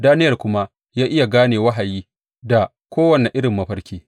Daniyel kuma ya iya gane wahayi da kowane irin mafarki.